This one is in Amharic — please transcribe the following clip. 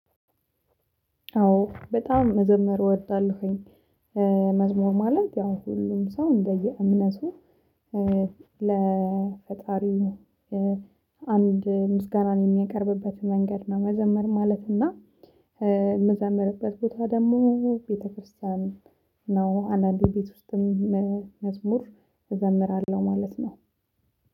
አዎ በጣም መዘመር እወዳለሁኝ። መዝሙር ማለት ያው ሁሉም ሰው እንደየ እምነቱ ለፈጣሪው አንድ ምስጋናን የሚያቀርብበት መንገድ ነው። መዘመር ማለት እና ምዘምርበት ቦታ ደሞ ቤተክርስቲያን ነው። አንዳንዴ ቤት ውስጥም መዝሙር እዘምራለው ማለት ነው።